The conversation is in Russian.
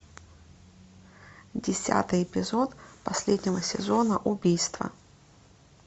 десятый эпизод последнего сезона убийство